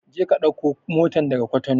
Je ka ɗauko motan daga Cotonou!